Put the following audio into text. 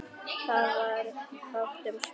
Það varð fátt um svör.